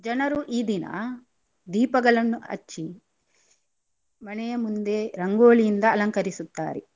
ಜನರು ಈ ದಿನ ದೀಪಗಳನ್ನು ಹಚ್ಚಿ ಮನೆಯ ಮುಂದೆ ರಂಗೋಲಿಯಿಂದ ಅಲಂಕರಿಸುತ್ತಾರೆ.